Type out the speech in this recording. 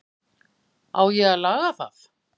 Á ég að laga það?